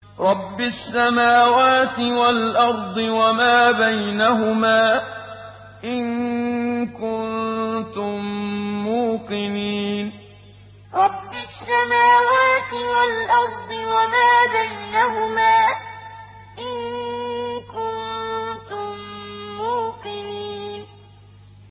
رَبِّ السَّمَاوَاتِ وَالْأَرْضِ وَمَا بَيْنَهُمَا ۖ إِن كُنتُم مُّوقِنِينَ رَبِّ السَّمَاوَاتِ وَالْأَرْضِ وَمَا بَيْنَهُمَا ۖ إِن كُنتُم مُّوقِنِينَ